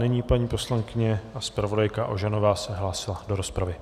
Nyní paní poslankyně a zpravodajka Ožanová se hlásila do rozpravy.